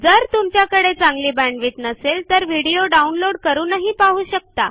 जर तुमच्याकडे चांगली बॅण्डविड्थ नसेल तर व्हिडिओ डाउनलोड करूनही पाहू शकता